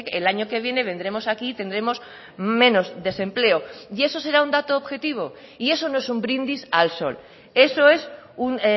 el año que viene vendremos aquí y tendremos menos desempleo y eso será un dato objetivo y eso no es un brindis al sol eso es un